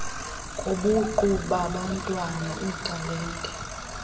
kobuqu babantwana iitalente